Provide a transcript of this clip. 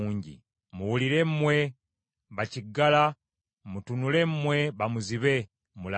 “Muwulire mmwe bakiggala, mutunule mmwe bamuzibe, mulabe.